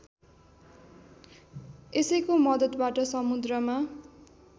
यसैको मद्दतबाट समुद्रमा